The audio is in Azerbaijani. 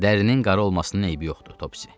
Dərinin qara olmasının eybi yoxdur, Topsi.